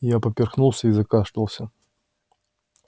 я поперхнулся и закашлялся